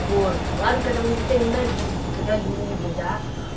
вот ладно когда мужик тебя ненавидит когда любят да